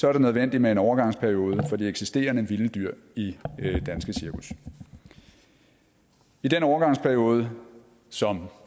er det nødvendigt med en overgangsperiode for de eksisterende vilde dyr i danske cirkus i den overgangsperiode som